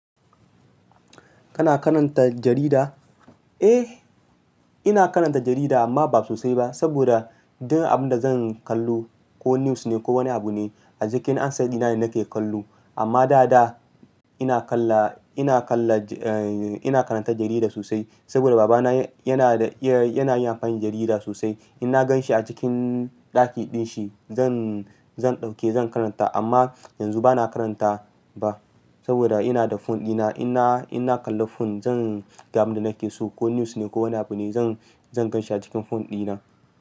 Kana karanta jarida? Eh, ina karanta jarida amma ba sosai ba. Saboda duk abinda zan kallo ko news ne ko wani abune a cikin handset dina ne nake kallo. Amma dada ina kalla, ina kalla, eh ina karanta jarida sosai. Saboda babana yanada, yanayin amfani da jarida sosai. Inna ganshi a cikin ɗaki dinshi zan, zan ɗauke zan karanta amma yanzu bana karanta ba. Saboda inada phone dina inna, inna kalla phone zanga abinda nakeso ko news ne ko wani abune zan, zan ganshi a cikin phone dina.